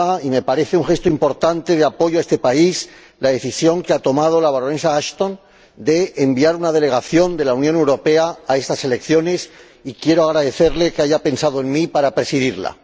Me parece un gesto importante de apoyo a este país la decisión que ha tomado la señora Ashton de enviar una delegación de la Unión Europea a esas elecciones, y quiero agradecerle que haya pensado en mí para presidirla.